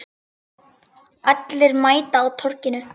Allir mæta á Torginu